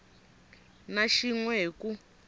na xin we hi ku